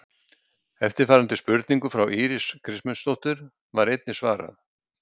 Eftirfarandi spurningu frá Írisi Kristmundsdóttur var einnig svarað: